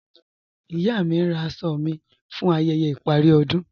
Iya mí ǹ rá àṣọ̀ mí fún ayẹyẹ̀ iparí ọdún.